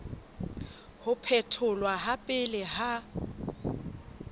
ho phetholwa ha pele ha